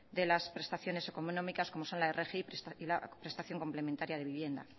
de las prestaciones económicas como son la rgi o prestación complementaria de vivienda